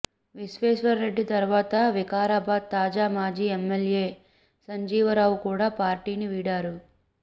విశ్వేశ్వర్ రెడ్డి తర్వాత వికారాబాద్ తాజా మాజీ ఎమ్మెల్యే సంజీవరావు కూడా పార్టీని వీడారు